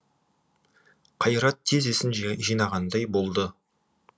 қайрат тез есін жинағандай болды